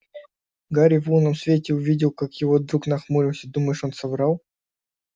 гарри в лунном свете увидел как его друг нахмурился думаешь он соврал